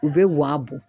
U bɛ wa bɔ